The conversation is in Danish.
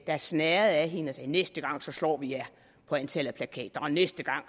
der snerrede af hende og sagde næste gang så slår vi jer på antallet af plakater og næste gang